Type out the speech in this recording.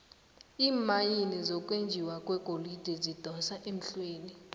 iimayini zokwenjiwa kwegolide zidosa emhlweni